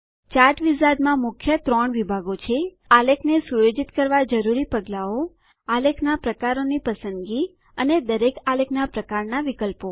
chart wizard માં મુખ્ય ત્રણ વિભાગો છે આલેખને સુયોજિત કરવા જરૂરી પગલાઓઆલેખના પ્રકારોની પસંદગીઅને દરેક આલેખના પ્રકારના વિકલ્પો